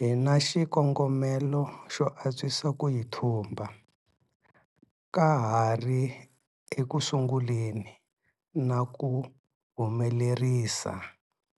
Hi na xikongomelo xo antswisa ku yi thumba ka ha ri ekusunguleni na ku humelerisa